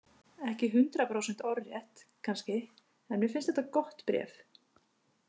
Ekki hundrað prósent orðrétt, kannski, en mér finnst þetta gott bréf.